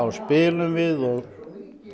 spilum við og